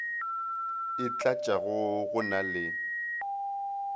e tlatšago go na le